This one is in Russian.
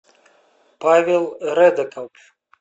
павел редеков